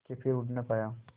के फिर उड़ ना पाया